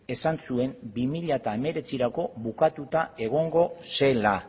esan zuen bi mila hemeretzirako bukatuta egongo zela